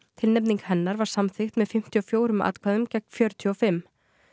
tilnefning hennar var samþykkt með fimmtíu og fjórum atkvæðum gegn fjörutíu og fimm